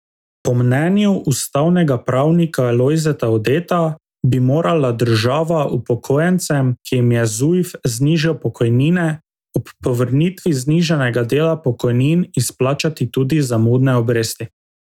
Po mnenju ustavnega pravnika Lojzeta Udeta bi morala država upokojencem, ki jim je Zujf znižal pokojnine, ob povrnitvi znižanega dela pokojnin izplačati tudi zamudne obresti.